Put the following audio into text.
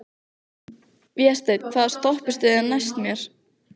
Vésteinn, hvaða stoppistöð er næst mér?